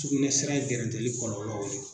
Tugunɛ sira in gɛrɛntɛli kɔlɔlɔw ye